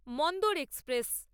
Mandor express